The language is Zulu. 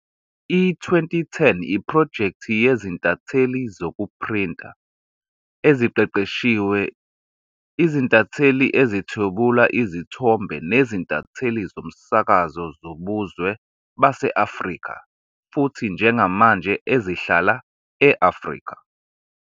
I-Twenty Ten yiphrojekthi yezintatheli zokuphrinta eziqeqeshiwe, izintatheli ezithwebula izithombe nezintatheli zomsakazo zobuzwe base-Afrika futhi njengamanje ezihlala e-Afrika.